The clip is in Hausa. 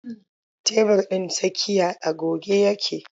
Tebur ɗin tsakiya a goge yake.